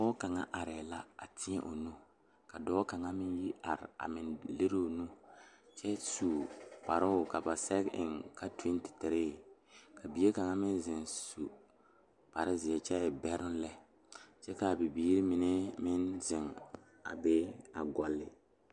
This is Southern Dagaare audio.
Pɔge la ka dɔɔba banuu a zɔŋ a a kuriwiire kaŋa eɛ ziɛ kyɛ taa peɛle kaa kuriwiire mine e sɔglɔ kyɛ ka konkobile fare a kuriwiire poɔ a e doɔre.